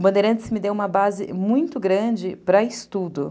O Bandeirantes me deu uma base muito grande para estudo.